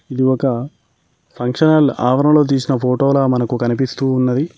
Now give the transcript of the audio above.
ఒక function hall ఆవరణంలో తీసిన ఫోటోలా మనకు కనిపిస్తూ ఉన్నది.